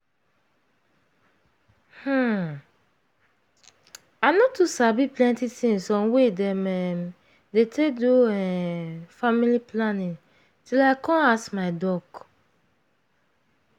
hmm i no too sabi plenty things on way dem um dey take do um family planning till i come ask my doc.